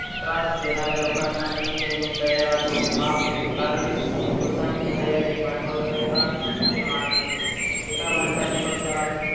त्रास देणाऱ्या लोकांना ही त्यांनी दया दाखवली. माफ केले कारण दया हे भांडवल संतां असे मानत होते. ते काम आणि पक्षा ला,